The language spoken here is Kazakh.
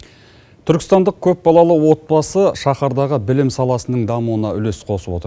түркістандық көпбалалы отбасы шаһардағы білім саласының дамуына үлес қосып отыр